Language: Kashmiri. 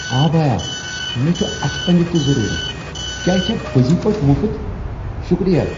آ بایا، مےٚ چھ اتھہ پنج تِہ ضرورت۔ کیا یہ چھا پٔزۍ پٲٹھۍ مفت؟ شکریہ!